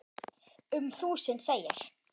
Um þúsund segir